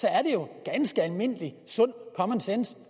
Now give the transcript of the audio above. i almindelig common sense